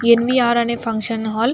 NVR అనే function hall --